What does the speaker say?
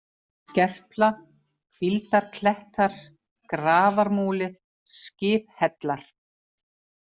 Skerpla, Hvíldarklettar, Grafarmúli, Skiphellar